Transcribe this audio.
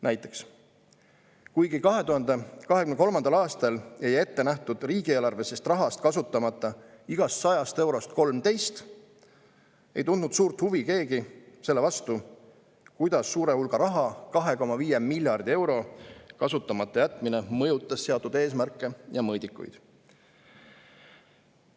Näiteks, kuigi 2023. aastal jäi ette nähtud riigieelarvelisest rahast kasutamata igast 100 eurost 13, ei tundnud keegi suurt huvi selle vastu, kuidas suure hulga raha – 2,5 miljardi euro – kasutamata jätmine mõjutas seatud eesmärke ja mõõdikuid.